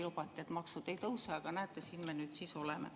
Lubati, et maksud ei tõuse, aga näete, siin me nüüd siis oleme.